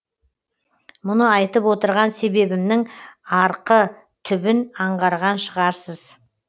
мұны айтып отырған себебімнің арқы түбін аңғарған шығарсыз